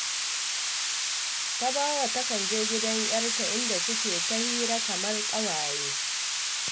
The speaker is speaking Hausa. Tabawa takan je gidan 'yarta, inda suke yin hira kamar ƙawaye